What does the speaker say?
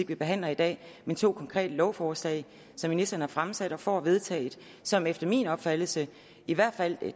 vi behandler i dag men to konkrete lovforslag som ministeren har fremsat og får vedtaget som efter min opfattelse i hvert fald